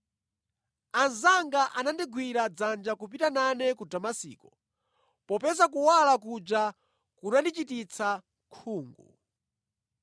Anzanga anandigwira dzanja kupita nane ku Damasiko, popeza kuwala kunja kunandichititsa khungu.